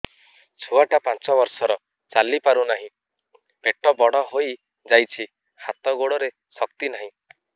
ଛୁଆଟା ପାଞ୍ଚ ବର୍ଷର ଚାଲି ପାରୁ ନାହି ପେଟ ବଡ଼ ହୋଇ ଯାଇଛି ହାତ ଗୋଡ଼ରେ ଶକ୍ତି ନାହିଁ